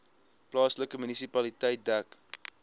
plaaslike munisipaliteit dek